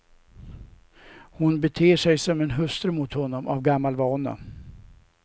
Hon beter sig som en hustru mot honom av gammal vana.